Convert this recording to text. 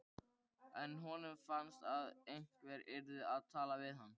En honum fannst að einhver yrði að tala við hana.